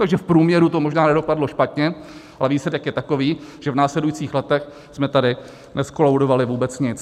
Takže v průměru to možná nedopadlo špatně, ale výsledek je takový, že v následujících letech jsme tady nezkolaudovali vůbec nic.